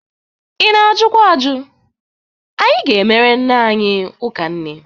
Ị na-ajukwa aju. Anyị ga-emere nne anyị ụka nne.